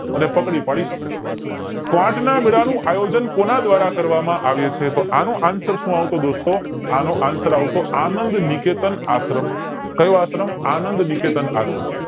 અને પાકડી પાડીસ આયોજન કોના દ્વારા કરવામાં આવ્યું છે તો આનો answer સુ આવતો દોસ્તો તો આનો answer આવતો આનંદ નિકેતન આશ્રમ કય વાત નો આનંદ નિકેતન આશ્રમ